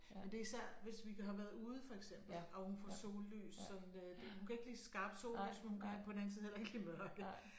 Men det er især hvis vi har været ude for eksempel og hun får sollys sådan hun kan ikke lide skarpt sollys men hun kan på den anden side heller ikke lide mørke